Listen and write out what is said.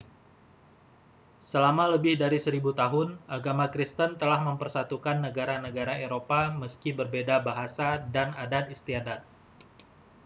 selama lebih dari seribu tahun agama kristen telah mempersatukan negara-negara eropa meski berbeda bahasa dan adat istiadat